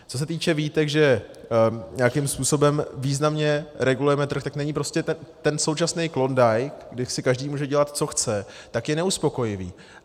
Co se týče výtek, že nějakým způsobem významně regulujeme trh, tak není prostě ten současný Klondike, kde si každý může dělat, co chce, tak je neuspokojivý.